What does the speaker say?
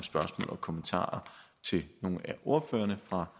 og kommentarer til nogle af ordførerne fra